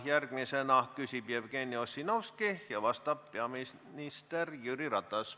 Järgmisena küsib Jevgeni Ossinovski ja vastab peaminister Jüri Ratas.